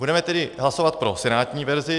Budeme tedy hlasovat pro senátní verzi.